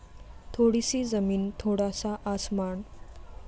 थोडी सी जमीन थोडा सा आसमान